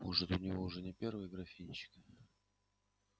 может у него уже не первый графинчик